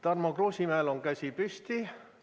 Tarmo Kruusimäel on käsi püsti.